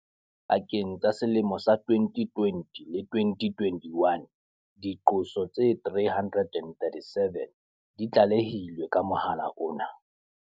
Pakeng tsa selemo sa 2020 le 2021, diqoso tse 337 di tlale hilwe ka mohala ona.